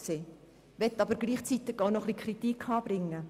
Ich möchte aber gleichzeitig auch etwas Kritik anbringen.